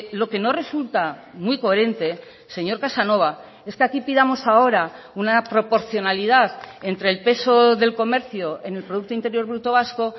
lo que no resulta muy coherente señor casanova es que aquí pidamos ahora una proporcionalidad entre el peso del comercio en el producto interior bruto vasco